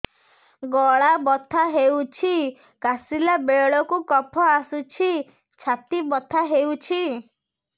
ଗଳା ବଥା ହେଊଛି କାଶିଲା ବେଳକୁ କଫ ଆସୁଛି ଛାତି ବଥା ହେଉଛି